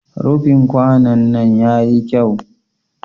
Rufin kwanon nan ya yi kyau.